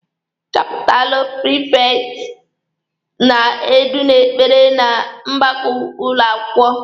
Chapụlụ prifekti na-edu n'ekpere na mgbakọ ụlọ akwụkwọ.